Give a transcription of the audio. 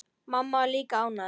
Mamma var líka ánægð.